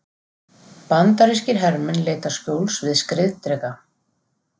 Bandarískir hermenn leita skjóls við skriðdreka.